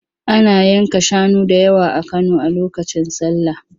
Ana yanka shanu da yawa a Kano a lokacin sallah.